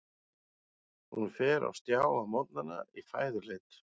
Hún fer á stjá á morgnana í fæðuleit.